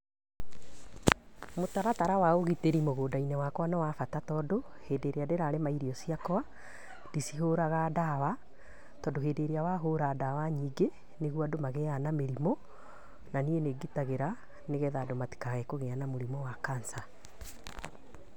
Mũtaratara wa ũgitĩri mũgunda-inĩ wakwa nĩ wa bata tondũ, hĩndĩ ĩrĩa ndĩrarĩma irio ciakwa, ndicihoraga ndawa, todũ hĩndĩ ĩrĩa wahũra ndawa nyingĩ nĩguo andũ magĩaga na mĩrimũ na niĩ nĩ ngitagĩra nĩgetha andũ matikae kũgĩa na mũrimũ wa cancer.